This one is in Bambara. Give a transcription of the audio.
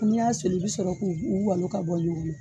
N'i y'a soli i bɛ sɔrɔ k'u u walo ka bɔ ɲɔgɔnna